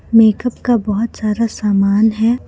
Makeup का बहोत सारा सामान है।